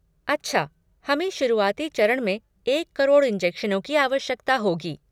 अच्छा, हमें शुरुआती चरण में एक करोड़ इंजेक्शनों की आवश्यकता होगी।